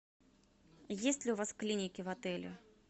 есть ли у вас клиники в отеле